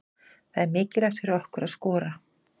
Það er mikilvægt fyrir okkur að skora.